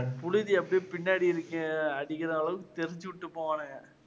புழுதி அப்பிடியே பின்னாடி அடிக்கற அளவுக்கு தெறிச்சு விட்டு போவானுங்க.